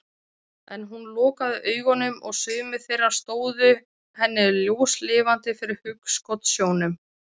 En hún lokaði augunum og sumir þeirra stóðu henni ljóslifandi fyrir hugskotssjónum.